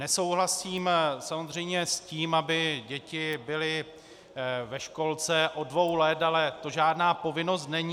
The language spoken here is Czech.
Nesouhlasím samozřejmě s tím, aby děti byly ve školce od dvou let, ale to žádná povinnost není.